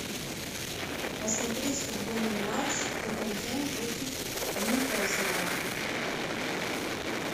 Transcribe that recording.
посмотреть футбольный матч тоттенхэм против ньюкасла